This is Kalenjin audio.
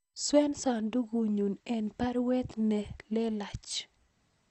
Swen sandugut nenyun en baruet ne lelach